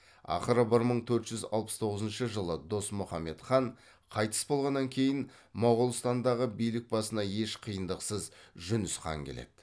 ақыры бір мың төрт жүз алпыс тоғызыншы жылы досмұхаммед хан қайтыс болғаннан кейін моғолстандағы билік басына еш қиындықсыз жүніс хан келеді